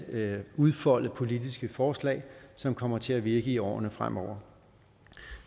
udfolde politiske forslag som kommer til at virke i årene fremover